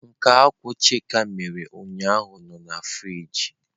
Nke akwu chika mere ụnyahụ nọ na frịjị.